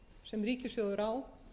sem ríkissjóður á